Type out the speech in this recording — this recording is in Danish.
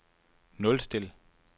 nulstil